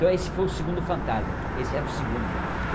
Então esse foi o segundo fantasma, esse era o segundo já.